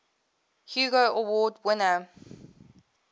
hugo award winner